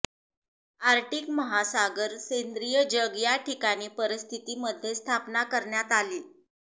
Arctic महासागर सेंद्रीय जग या कठीण परिस्थिती मध्ये स्थापना करण्यात आली